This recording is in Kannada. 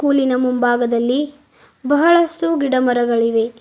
ಸ್ಕೂಲಿನ ಮುಂಭಾಗದಲ್ಲಿ ಬಹಳಷ್ಟು ಗಿಡ ಮರಗಳಿವೆ.